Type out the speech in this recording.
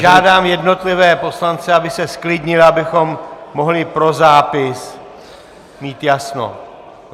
Žádám jednotlivé poslance, aby se zklidnili, abychom mohli pro zápis mít jasno.